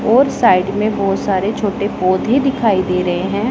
और साइड में बहोत सारे छोटे पौधे दिखाई दे रहे हैं।